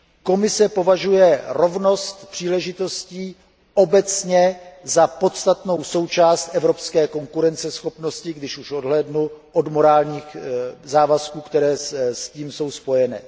Komise považuje rovnost příležitostí obecně za podstatnou součást evropské konkurenceschopnosti, když už odhlédnu od morálních závazků, které s tím jsou spojeny.